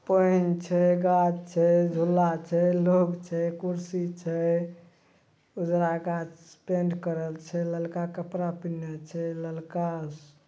PAN छै guard छै झूला छै लोग छै कुर्सी छै उजरा गाछ पेंट करल छै ललका कपड़ा पिनहा छै ललका स--